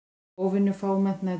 Óvenju fámennt næturlíf